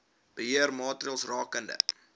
beheer maatreëls rakende